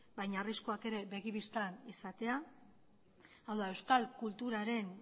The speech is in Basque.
baina arriskuak ere begi bistan izatea hau da euskal kulturaren